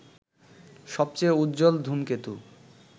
সবচেয়ে উজ্জ্বল ধূমকেতু